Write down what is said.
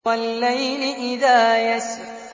وَاللَّيْلِ إِذَا يَسْرِ